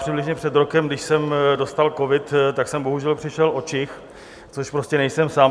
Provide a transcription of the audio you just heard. Přibližně před rokem, když jsem dostal covid, tak jsem bohužel přišel o čich, což prostě nejsem sám.